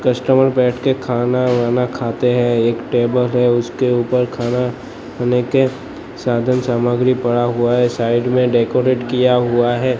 Customer बैठ के खाना वाना खाते हैं एक टेबल है उसके ऊपर खाना खाने के साधन सामग्री पड़ा हुआ है साइड में डेकोरेट किया हुआ है।